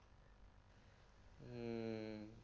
হম